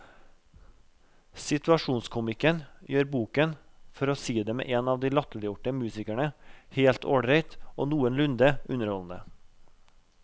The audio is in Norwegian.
Situasjonskomikken gjør boken, for å si det med en av de latterliggjorte musikerne, helt ålreit og noenlunde underholdende.